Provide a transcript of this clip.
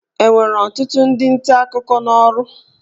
Enwere ọtụtụ ndị nta akụkọ n'ọrụ?